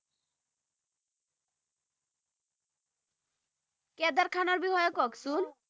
cadre খানৰ বিষয়ে কওকচোন